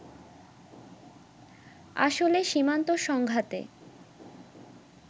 আসলে সীমান্ত সংঘাতে